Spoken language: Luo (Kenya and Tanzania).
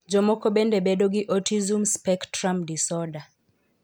Jomoko bende bedo gi autism spectrum disorder.